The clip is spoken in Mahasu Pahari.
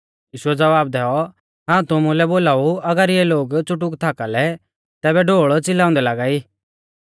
यीशुऐ ज़वाब दैऔ हाऊं तुमुलै बोलाऊ अगर इऐ लोग च़ुटुक थाका लै तैबै ढोल़ च़िलांदै लागा